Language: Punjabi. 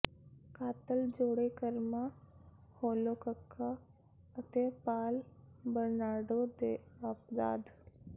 ਕਾਤਲ ਜੋੜੇ ਕਰਮਾ ਹੋਲੋਕਕਾ ਅਤੇ ਪਾਲ ਬਰਨਾਰਡੋ ਦੇ ਅਪਰਾਧ